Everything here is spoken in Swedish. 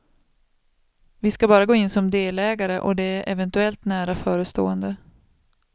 Vi ska bara gå in som delägare och det är eventuellt nära förestående.